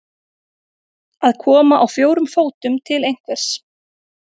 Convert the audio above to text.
Að koma á fjórum fótum til einhvers